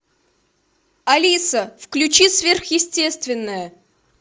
алиса включи сверхъестественное